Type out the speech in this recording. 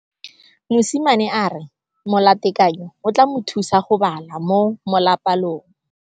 Mosimane a re molatekanyô o tla mo thusa go bala mo molapalong.